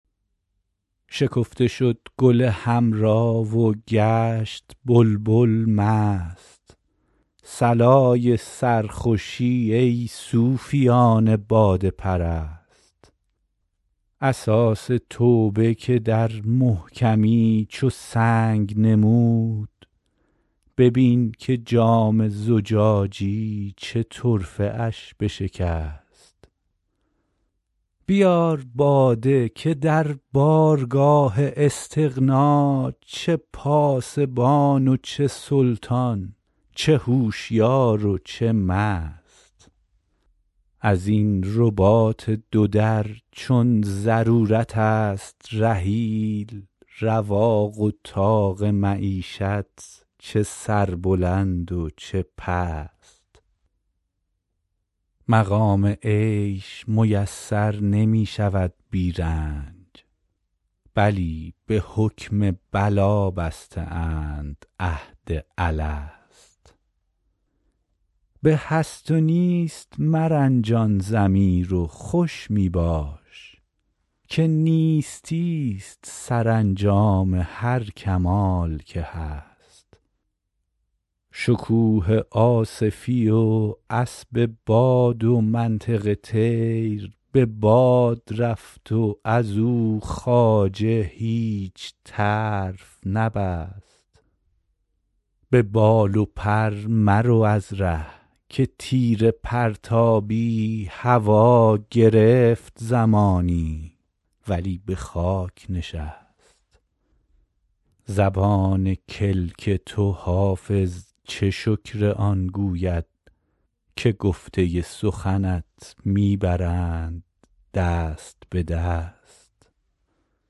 شکفته شد گل حمرا و گشت بلبل مست صلای سرخوشی ای صوفیان باده پرست اساس توبه که در محکمی چو سنگ نمود ببین که جام زجاجی چه طرفه اش بشکست بیار باده که در بارگاه استغنا چه پاسبان و چه سلطان چه هوشیار و چه مست از این رباط دو در چون ضرورت است رحیل رواق و طاق معیشت چه سربلند و چه پست مقام عیش میسر نمی شود بی رنج بلی به حکم بلا بسته اند عهد الست به هست و نیست مرنجان ضمیر و خوش می باش که نیستی ست سرانجام هر کمال که هست شکوه آصفی و اسب باد و منطق طیر به باد رفت و از او خواجه هیچ طرف نبست به بال و پر مرو از ره که تیر پرتابی هوا گرفت زمانی ولی به خاک نشست زبان کلک تو حافظ چه شکر آن گوید که گفته سخنت می برند دست به دست